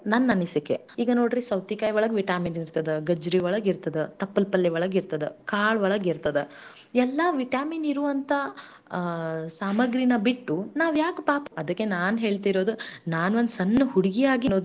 ನಮ್ ರೈತರ್ನ ಮುಂದೆ ತರನ ನಮ್ ರೈತರು ಬೆಳಿಲಿ ಇನ್ನು ಹೆಚ್ಚು ಹೆಚ್ಚಾಗಿ ಬೆಳೆಯಲಿ ಈಗ್ ಹೆಂಗ್ ಇಷ್ಟು ವರ್ಷ ನಾವು ಬರಿ ದೇಶದ ಬೆನ್ನೆಲುಬು ಅಂದಿವಿ ಹಂಗ ನಮ್ ರೈತನುನು ಮುಂದೆ ಬಂದು ಅವನು ಏನಾದರೂ ಒಂದು ಸಾಧಿಸ್ಲಿ ಬರಿ ಅವ್ನು ಬೆಳೆಯುವುದು.